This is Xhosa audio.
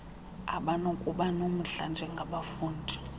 abanokuba nomdla njengabafundi